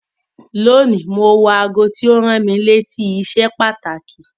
Lónìí, mo wọ aago tí ó rán mi létí iṣẹ́ pàtàkì.